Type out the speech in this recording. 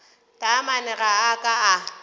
taamane ga a ka a